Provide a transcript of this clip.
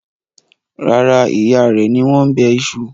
Rárá, ìyá rẹ ni wọ́n bẹ iṣu.